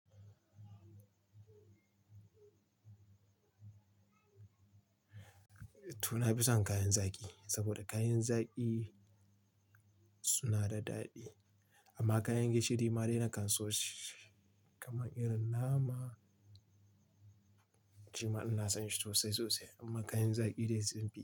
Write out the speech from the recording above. To, na fi son kayan zaki saboda kayan zaki suna da daɗi amma kayan gishiri ma dai na kan so shi kamar irin nama, shima ina son shi sosai sosai amma kayan zaki dai su ne.